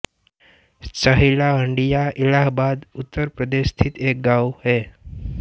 सहिला हंडिया इलाहाबाद उत्तर प्रदेश स्थित एक गाँव है